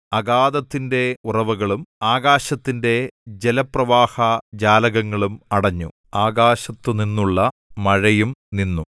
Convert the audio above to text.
അഗാധത്തിന്റെ ഉറവുകളും ആകാശത്തിന്റെ ജലപ്രവാഹ ജാലകങ്ങളും അടഞ്ഞു ആകാശത്തുനിന്നുള്ള മഴയും നിന്നു